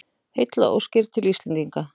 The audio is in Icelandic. Heillaóskir til Íslendinga